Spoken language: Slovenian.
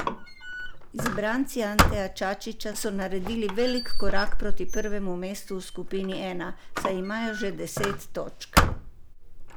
Izbranci Anteja Čačića so naredili velik korak proti prvemu mestu v skupini I, saj imajo že deset točk.